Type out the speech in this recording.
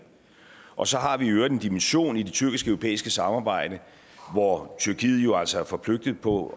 og så har vi i øvrigt en dimension i det tyrkisk europæiske samarbejde hvor tyrkiet jo altså er forpligtet på